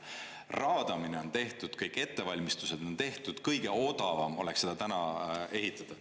Raadamine on tehtud, kõik ettevalmistused on tehtud, kõige odavam oleks seda täna ehitada.